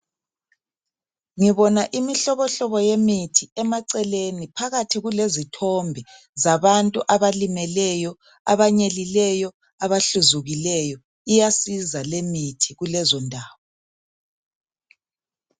Ngibona imihlobohlobo yemithi emaceleni, phakathi kulezithombe zabantu abalimeleyo, abanyelileyo abahluzukileyo. Iyasiza lemithi kulezondawo.